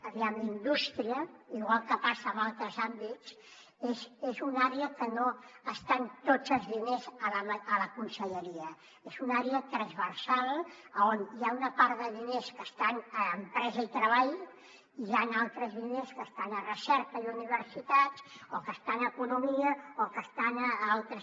aviam indústria igual que passa en altres àmbits és una àrea en què no estan tots els diners a la conselleria és una àrea transversal on hi ha una part de diners que estan a empresa i treball hi han altres línies que estan a recerca i universitats o que estan a economia o que estan a altres